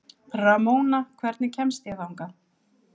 Ramóna, hvernig kemst ég þangað?